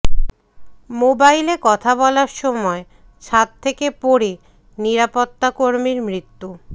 মোবাইলে কথা বলার সময় ছাদ থেকে পড়ে নিরাপত্তাকর্মীর মৃত্যু